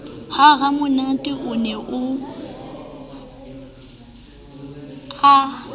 ha ramonate o ne a